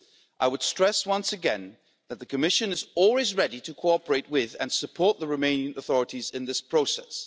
I would stress once again that the Commission is always ready to cooperate with and support the Romanian authorities in this process.